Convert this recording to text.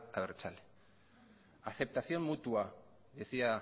abertzale aceptación mutua decía